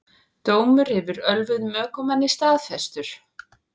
Dómur yfir ölvuðum ökumanni staðfestur